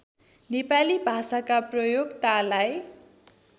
नेपाली भाषाका प्रयोक्तालाई